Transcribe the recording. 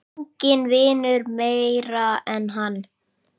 Enginn vinnur meira en hann.